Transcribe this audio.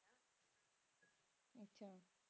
ਅੱਛਾ